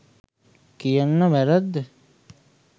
කියන වැරැද්ද